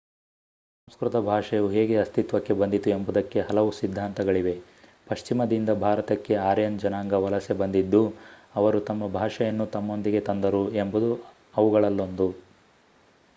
ಸಂಸ್ಕೃತ ಭಾಷೆಯು ಹೇಗೆ ಅಸ್ತಿತ್ವಕ್ಕೆ ಬಂದಿತು ಎಂಬುದಕ್ಕೆ ಹಲವು ಸಿದ್ಧಾಂತಗಳಿವೆ ಪಶ್ಚಿಮದಿಂದ ಭಾರತಕ್ಕೆ ಆರ್ಯನ್ ಜನಾಂಗ ವಲಸೆ ಬಂದಿದ್ದು ಅವರು ತಮ್ಮ ಭಾಷೆಯನ್ನು ತಮ್ಮೊಂದಿಗೆ ತಂದರು ಎಂಬುದು ಅವುಗಳಲ್ಲೊಂದು